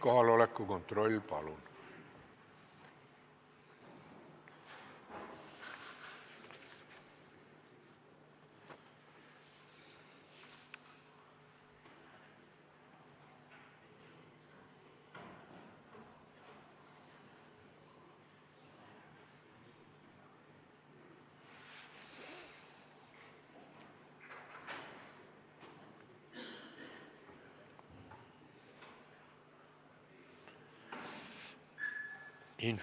Kohaloleku kontroll, palun!